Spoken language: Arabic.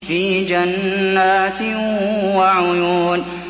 فِي جَنَّاتٍ وَعُيُونٍ